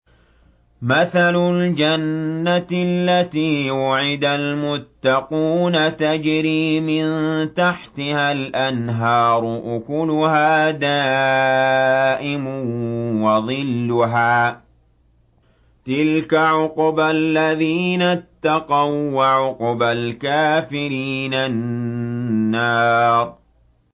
۞ مَّثَلُ الْجَنَّةِ الَّتِي وُعِدَ الْمُتَّقُونَ ۖ تَجْرِي مِن تَحْتِهَا الْأَنْهَارُ ۖ أُكُلُهَا دَائِمٌ وَظِلُّهَا ۚ تِلْكَ عُقْبَى الَّذِينَ اتَّقَوا ۖ وَّعُقْبَى الْكَافِرِينَ النَّارُ